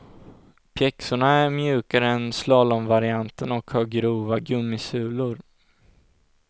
Pjäxorna är mjukare än slalomvarianten och har grova gummisulor.